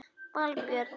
Valbjörn